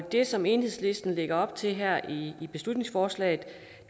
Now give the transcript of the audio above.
det som enhedslisten lægger op til her i i beslutningsforslaget